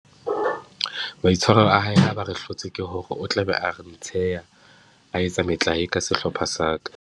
Maitshwaro a hae ha ba re hlotswe, ke hore o tla be a re ntsheha, a etsa metlae ka sehlopha sa ka.